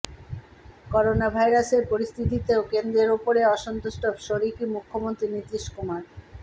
করোনাভাইরাসের পরিস্থিতিতেও কেন্দ্রের ওপরে অসন্তুষ্ট শরিকি মুখ্যমন্ত্রী নীতীশ কুমার